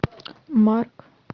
марк